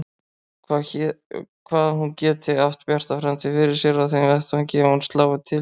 Hvað hún geti átt bjarta framtíð fyrir sér á þeim vettvangi ef hún slái til.